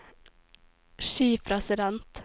skipresident